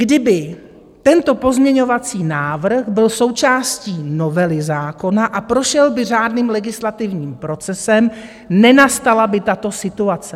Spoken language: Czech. Kdyby tento pozměňovací návrh byl součástí novely zákona a prošel by řádným legislativním procesem, nenastala by tato situace.